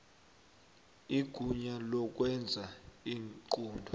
igunya lokwenza iinqunto